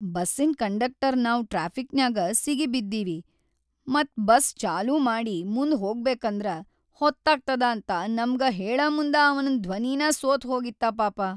ಬಸ್ಸಿನ್‌ conductor ನಾವ್‌ ಟ್ರಾಫಿಕ್‌ನ್ಯಾಗ ಸಿಗಿಬಿದ್ದೀವಿ ಮತ್‌ ಬಸ್‌ ಚಾಲೂ ಮಾಡಿ ಮುಂದ್‌ ಹೋಗಬೇಕಂದ್ರ ಹೊತ್ತಾಗ್ತದ ಅಂತ ನಮ್ಗ ಹೇಳಮುಂದ ಅವನ್‌ ಧ್ವನಿನಾ ಸೋತ್‌ ಹೋಗಿತ್ತ ಪಾಪ.